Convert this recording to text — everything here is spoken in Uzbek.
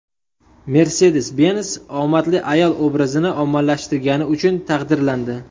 Mercedes-Benz omadli ayol obrazini ommalashtirgani uchun taqdirlandi.